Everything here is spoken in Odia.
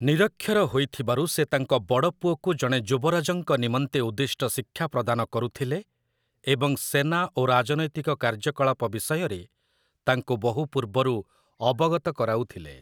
ନିରକ୍ଷର ହୋଇଥିବାରୁ ସେ ତାଙ୍କ ବଡ଼ ପୁଅକୁ ଜଣେ ଯୁବରାଜଙ୍କ ନିମନ୍ତେ ଉଦ୍ଦିଷ୍ଟ ଶିକ୍ଷା ପ୍ରଦାନ କରୁଥିଲେ ଏବଂ ସେନା ଓ ରାଜନୈତିକ କାର୍ଯ୍ୟକଳାପ ବିଷୟରେ ତାଙ୍କୁ ବହୁ ପୂର୍ବରୁ ଅବଗତ କରାଉଥିଲେ ।